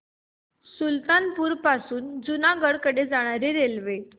सुल्तानपुर पासून जुनागढ कडे जाणारी रेल्वे